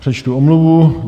Přečtu omluvu.